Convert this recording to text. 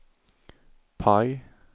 PIE